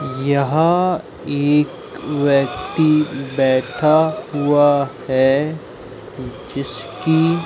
यहां एक व्यक्ति बैठा हुआ है जिसकी--